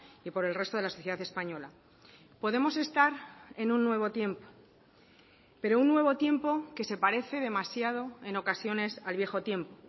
y por el resto de la sociedad española podemos estar en un nuevo tiempo pero un nuevo tiempo que se parece demasiado en ocasiones al viejo tiempo